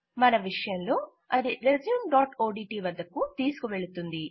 మన విషయంలో అది రెస్యూమ్ఓడిటి వద్దకు తీసుకువెళుతుంది